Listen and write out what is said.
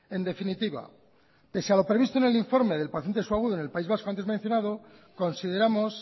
en definitiva pese a lo previsto en el informe del paciente agudo en el país vasco antes mencionado consideramos